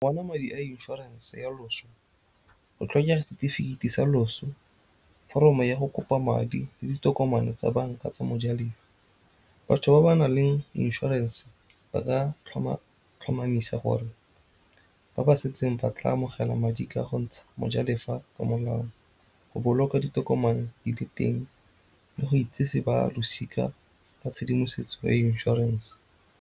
Go bona madi a inshoranse ya loso go tlhokega setefikeiti sa loso, foromo ya go kopa madi le ditokomane tsa banka tsa mojalefa. Batho ba ba nang le inshorense ba ka tlhomamisa gore ba ba setseng ba tla amogela madi ka go ntsha mojalefa ka molao go boloka ditokomane di le teng le go itseseng ba losika ka tshedimosetso ya inšorense.